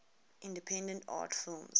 independent art films